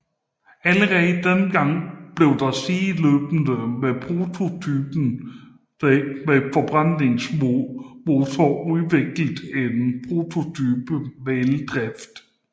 Allerede dengang blev der sideløbende med prototypen med forbrændingsmotor udviklet en prototype med eldrift